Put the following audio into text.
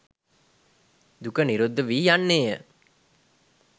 දුක නිරුද්ධ වී යන්නේ ය.